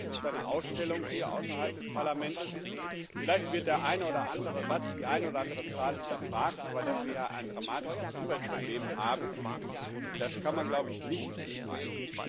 Es gibt eine Ausstellung hier außerhalb des Parlaments, und vielleicht wird der eine oder andere Satz, die eine oder andere Zahl hinterfragt, aber dass wir hier ein dramatisches Umweltproblem haben, das kann man wohl nicht bestreiten.